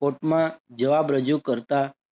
કોર્ટમાં જવાબ રજૂ કરતા